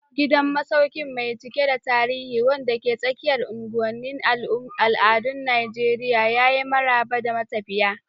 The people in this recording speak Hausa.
Gidan masaukin mai cike da tarihi, wanda ke tsakiyar unguwanin al'adun Najeriya, ya yi maraba da matafiya.